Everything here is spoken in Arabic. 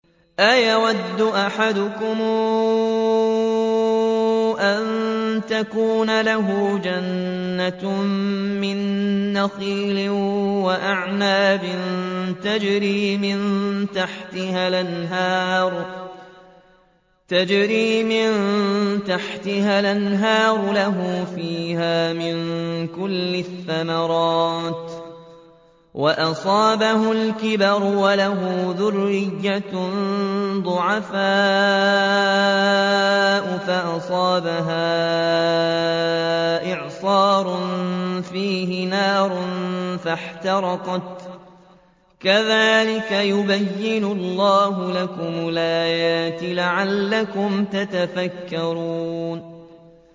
أَيَوَدُّ أَحَدُكُمْ أَن تَكُونَ لَهُ جَنَّةٌ مِّن نَّخِيلٍ وَأَعْنَابٍ تَجْرِي مِن تَحْتِهَا الْأَنْهَارُ لَهُ فِيهَا مِن كُلِّ الثَّمَرَاتِ وَأَصَابَهُ الْكِبَرُ وَلَهُ ذُرِّيَّةٌ ضُعَفَاءُ فَأَصَابَهَا إِعْصَارٌ فِيهِ نَارٌ فَاحْتَرَقَتْ ۗ كَذَٰلِكَ يُبَيِّنُ اللَّهُ لَكُمُ الْآيَاتِ لَعَلَّكُمْ تَتَفَكَّرُونَ